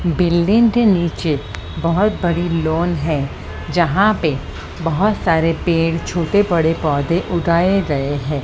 Building के नीचे बहुत बड़ी लॉन है जहां पे बहुत सारे पेड़ छोटे बड़े पौधे उगाए गए हैं।